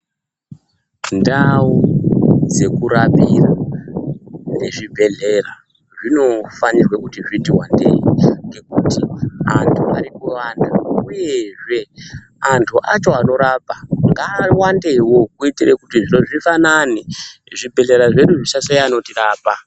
Ndau dzeku rapira nezvi bhehlera zvino fanirwa kuti wandei ngekuti andu ari kuwanda uyezve andu acho anorapa nga wandewo kuitire kuti zviro zvifanane zvi bhehlera zvedu zvisa shaya anoti rapa.